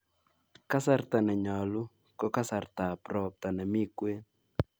Kasarta nenyolu ko kasartab ropta nemi kwen